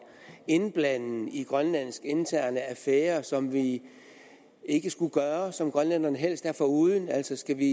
indblanden i grønlandske interne affærer som vi ikke skulle gøre og som grønlænderne helst er foruden altså skal vi